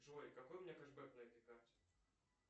джой какой у меня кэшбэк на этой карте